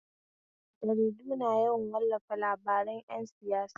Jaridu na yawan wallafa labaran ƴan siyasa.